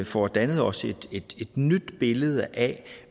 få dannet os et nyt billede af